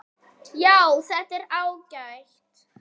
Já, þetta er ágætt.